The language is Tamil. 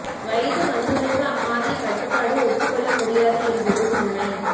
வயது வந்தோருக்கு அம்மாதிரி கட்டுப்பாடு ஒத்துக் கொள்ள முடியாது என்பதும் உண்மை